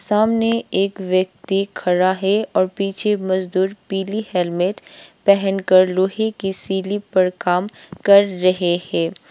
सामने एक व्यक्ति खड़ा है और पीछे मजदूर पीली हेलमेट पहन कर लोहे की सीढ़ी पर काम कर रहे है।